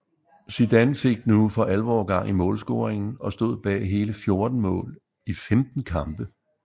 Zidan fik nu for alvor gang i målscoringen og stod bag hele 14 mål i 15 kampe